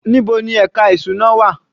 Níbo ni ẹka ìṣúná wà?